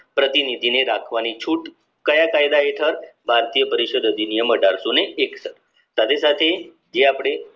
પ્રતિનિધિને રાખવાની છૂટ કાયા કાયદા હેઠળ ભારતીય પરિષદ અધિનિયમ અઢારશોને એકસઠ સાથે સાથે જે અપડે